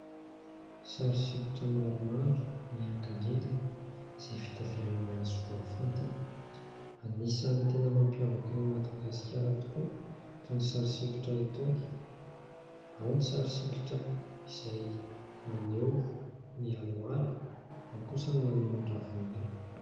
Sary sikotra maromaro miankindrindrina izay vita avy amin'ny hazo voafantina. Anisany tena mampiavaka ny Madagasikara tokoa itony sary sikotra itony. Ao ny sary sikotra izay maneho ny alohalo, ao kosa ny maneho ny ravinala.